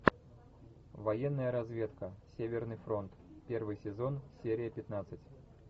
военная разведка северный фронт первый сезон серия пятнадцать